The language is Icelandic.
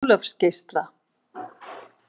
Ólafsgeisla